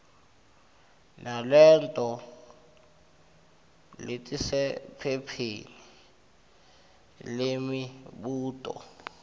naleto letisephepheni lemibuto